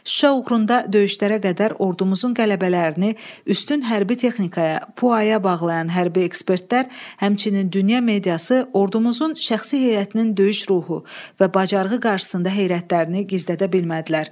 Şuşa uğrunda döyüşlərə qədər ordumuzun qələbələrini üstün hərbi texnikaya, pu aya bağlayan hərbi ekspertlər, həmçinin dünya mediası ordumuzun şəxsi heyətinin döyüş ruhu və bacarığı qarşısında heyrətlərini gizlədə bilmədilər.